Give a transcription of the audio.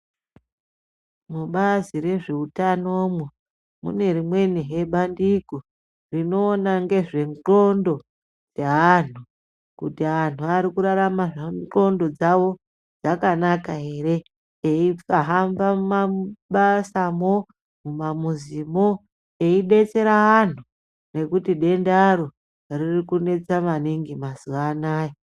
Mubazi rezveutanomwo mune rimwenihe bandiko rinoona ngezve ndxondo dzeanhu, kuti anhu arikurarama ndxondo dzawo dzakanaka ere eihamba mumabasamo mumamuzimo eibetsera vantu ngekuti dendaro ririkunetsa maningi mazuwa anaya.